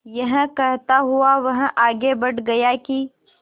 यह कहता हुआ वह आगे बढ़ गया कि